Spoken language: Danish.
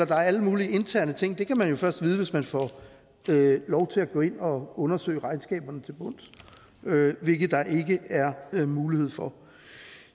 der er alle mulige interne ting kan man jo først vide hvis man får lov til at gå ind og undersøge regnskaberne til bunds hvilket der ikke er mulighed for